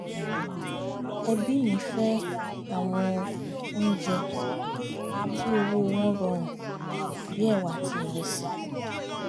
ẹbí mi fẹ́ àwọn oúnjẹ tí owó wọn rọrùn bí ẹ̀wà àti ìrẹsì